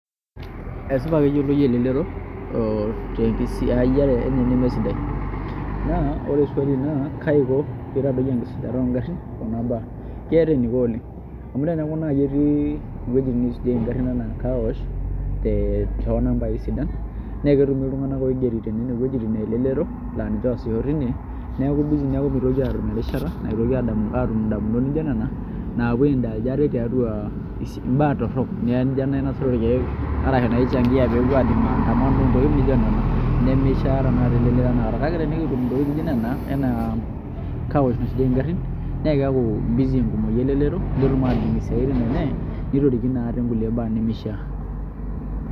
Esipa keyioloi elelero tenkisiayiare enye nemesidai naa ore swali naa kaiko pee itadoyio enkisujata oogarrin kuna baa, keeta eniko oleng' amu teneeku naai etii iwuejitin niisujieki ngarrin enaa carwash too nambai sidan naa ketumi iltung'anak oigeri tenena wuejitin elelero laa oosisho tine naa keeku busy mitoki aatum erishata naitoki aatum indamunit nijio nena naapuo ai indulge ate tiatua imbaa torrok naa nijio enainosieki irkeek arashu enaichangia intokitin nijio nena, ore ake tenikitum ntokitin nijio nena aa carwash naisujieki ngarrin naa keeku busy enkumoi elelero netum ataas isiaitin enye nitorikino ate nkulie baa neishiaa.